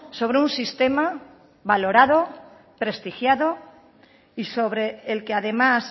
sobre un sistema valorado prestigiado y sobre el que además